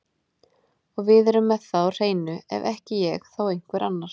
Og við erum með það á hreinu, ef ekki ég þá einhver annar.